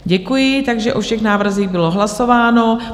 Děkuji, Takže o všech návrzích bylo hlasováno.